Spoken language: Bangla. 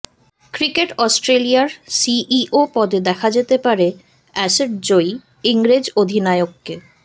ক্রিকেট অস্ট্রেলিয়ার সিইও পদে দেখা যেতে পারে অ্যাশেজ জয়ী ইংরেজ অধিনায়ককে